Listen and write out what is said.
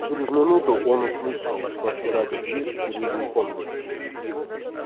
через минуту он услышал что отпирали дверь в передней комнате